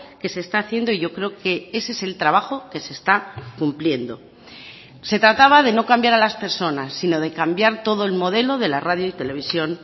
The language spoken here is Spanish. que se está haciendo y yo creo que ese es el trabajo que se está cumpliendo se trataba de no cambiar a las personas sino de cambiar todo el modelo de la radio y televisión